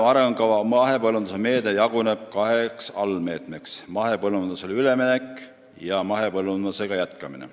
" Maaelu arengukava mahepõllumajanduse meede jaguneb kaheks allmeetmeks: mahepõllumajandusele üleminek ja mahepõllumajandusega jätkamine.